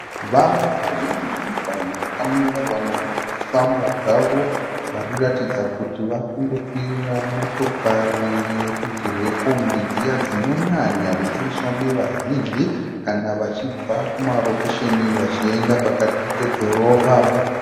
Vanhu vazhinji vamwe vakamira vamwe varikufamba zvavo variratidza kuti varikundokwira motokari yerudzi rwekombi dziya dzinonyanya kushandiswa nevazhinji kana vachibva kumarokesheni vachienda pakati pedhorobha.